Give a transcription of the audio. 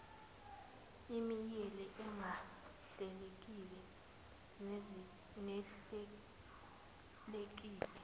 imeyili engahlelekile nehlelekile